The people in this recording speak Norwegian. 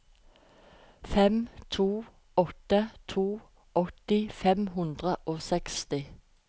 fem to åtte to åtti fem hundre og trettiseks